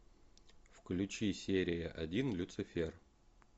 включи серия один люцифер